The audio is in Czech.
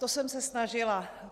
To jsem se snažila.